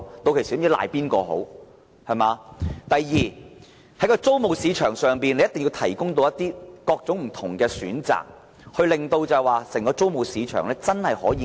第二，在租務市場上，政府一定要提供各種不同選擇，令整個租務市場被遏抑下來。